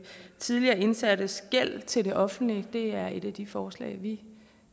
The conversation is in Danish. tidligere indsattes gæld til det offentlige det er et af de forslag vi